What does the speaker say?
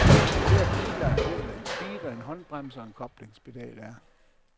Enhver bilejer ved, hvad en speeder, en håndbremse og en koblingspedal er.